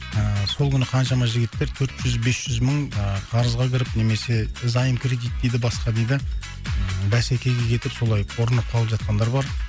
ыыы сол күні қаншама жігіттер төрт жүз бес жүз мың ы қарызға кіріп немесе заем кредит дейді басқа дейді бәсекеге кетіп солай ұрынып қалып жатқандар бар